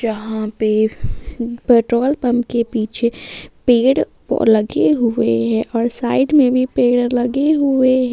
यहां पे petrol pump के पीछे पेड़ लगे हुए हैं और साइड में भी पेड़ लगे हुए हैं।